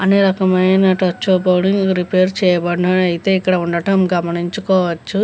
అనేక రకమైన రిపేరింగ్ చేయవచ్చు అని ఇక్కడ వుండడం గమనించవచ్చు.